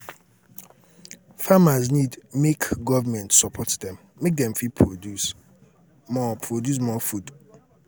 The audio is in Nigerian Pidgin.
farmers need make government support dem make dem fit produce more produce more food